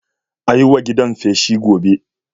A yi wa gidan feshi gobe